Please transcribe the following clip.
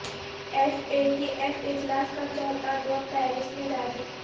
F A T F اجلاس کا چوتھا دور پیرس میں جاری